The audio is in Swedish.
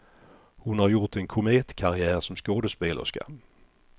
Hon har gjort en kometkarriär som skådespelerska.